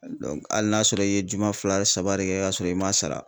hali n'a sɔrɔ i ye juma fila saba de kɛ ka sɔrɔ i m'a sara